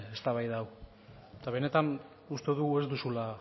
eztabaida hau eta benetan uste dugu